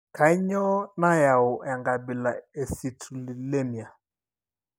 Kainyio nayau enkabila e I eCitrullinemia?